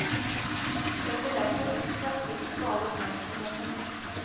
Setter derfor ekstra pris på all oppmerksomheten.